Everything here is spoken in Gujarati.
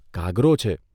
કાગરો છે.